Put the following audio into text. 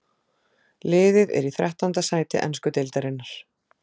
Liðið er í þrettánda sæti ensku deildarinnar.